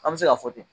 An bɛ se k'a fɔ ten